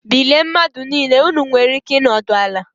Bilie mmadụ niile!! Ụnụ nwere ike ịnọdụ ala